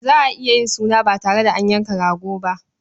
Za a iya yin suna ba tare da an yanka rago ba.